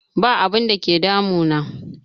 Ba abun da ke damu na